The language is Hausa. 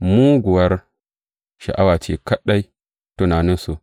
Muguwar sha’awa ce kaɗai tunaninsu.